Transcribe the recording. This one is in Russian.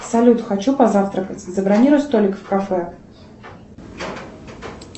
салют хочу позавтракать забронируй столик в кафе